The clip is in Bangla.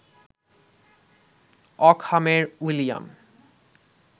অকহামের উইলিয়াম